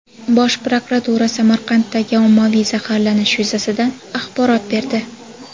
Bosh prokuratura Samarqanddagi ommaviy zaharlanish yuzasidan axborot berdi.